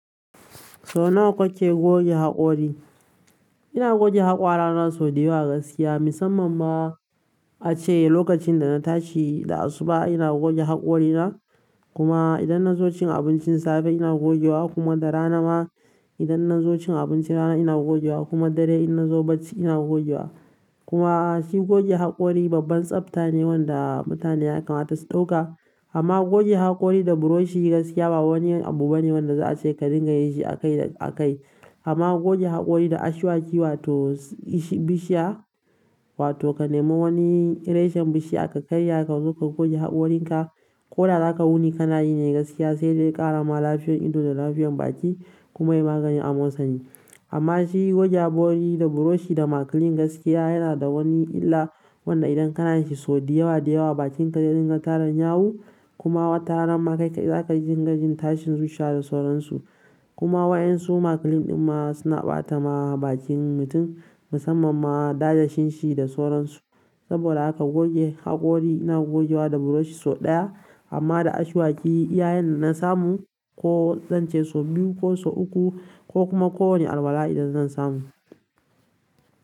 Sau nawa kake goge haƙori ina goge haƙora na so da yawa gaskiya, musamman ma ace lokacin da na tashi da asuba ina goge haƙorina. Kuma idan na zo cin abincin safe ina goge wa kuma da rana ma idan na zo cin abinci rana ina goge wa kuma dare idan na zo bacci ina goge wa. Kuma shi goge haƙori babban tsafta ne wanda mutane ya kamata su ɗauka. Amma goge haƙori da buroshi gaskiya ba wani abu bane wanda za a ce ka dinga yi shi akai akai. Amma goge haƙori da ashwaki wato bishiya wato ka nemo wani reshen bishiya ka karya ka zo ka goge haƙorin ka, ko da zaka wuni kana yi ne gaskiya sai dai ƙara ma lafiyan ido da lafiyan baki kuma yi magani amosani amma shi goge haƙori da buroshi da makilin gaskiya yana da wani illa wanda idan kana shi so da yawa da yawa bakin ka ya dinga taran yawu kuma wata rana ma zaka dinga jin tashin zuciya da sauransu kuma waƴan su makilin ɗin ma suna ɓata ma bakin mutum musamman ma dasashin shi da sauransu. Saboda haka goge haƙori ina gogewa da buroshi sau ɗaya amma da ashwaki iya yanda na samu ko zan ce sau biyu ko sau uku ko kuma ko wane alwala idan zan samu.